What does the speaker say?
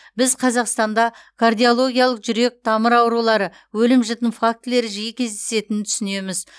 біз қазақстанда кардиологиялық жүрек тамыр аурулары өлім жітім фактілері жиі кездесетінін түсінеміз